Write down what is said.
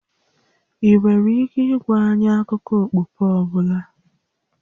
Ị nwere ike ịgwa anyị akụkọ okpukpe ọ bụla?